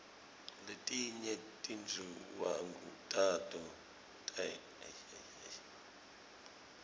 letinye tinduwangu tato tiarule